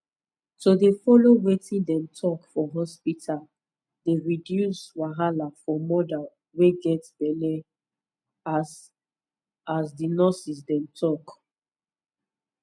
to dey follow wetin dem talk for hospita dey reduce wahala for moda wey get get belle hus as di nurses dem talk